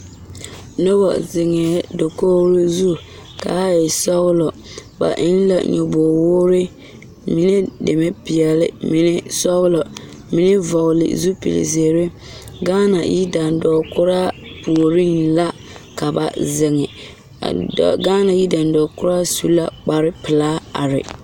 Noba zeŋee dakogro zu kaa e sɔgelɔ ba eŋ la nyɔboo woore mine deme peɛle mime deme sɔgelɔ mime vɔgele zupili zeere gaana yidandɔɔ kuraa mine la a wa zeŋ gaana yidandɔɔ kuraa su la kpar pelaa are